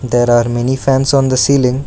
There are many fans on the ceiling.